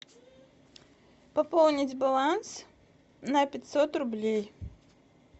пополнить баланс на пятьсот рублей